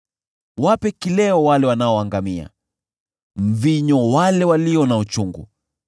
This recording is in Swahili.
Wape kileo wale wanaoangamia, mvinyo wale walio na uchungu,